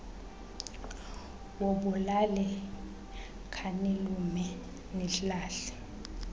wobulali khanilume nilahla